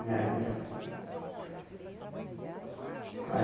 Me ajudam.